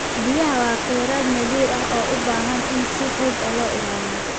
Biyaha waa khayraad naadir ah oo u baahan in si xoog leh loo ilaaliyo.